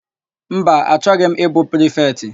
Mba, achọghị m ịbụ prifetị.